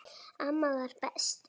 Amma var best.